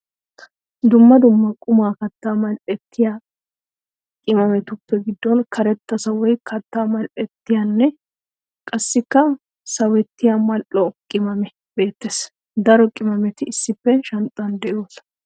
Dumma dumma qommo katta mali'ettiya qimaamettu giddon karetta sawoy katta male'ettiyanne qassikka sawettiya mali'oo qimaame beettees. Daro qimaametti issippe shanxxan de'osonna.